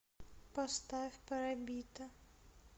поставь парабита